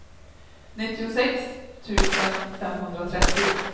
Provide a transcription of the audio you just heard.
nittiosex tusen femhundratrettio